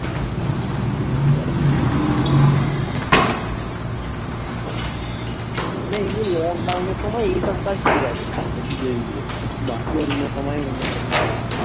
না এইযে lockdown এর পর এসব কাজ ঠিক আছে যে দূরে গিয়ে বাকি অন্য সময়ে অন্য কাজই ঠিক আছে